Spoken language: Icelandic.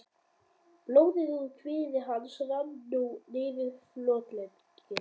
Blóðið úr kviði hans rann nú niður fótlegginn.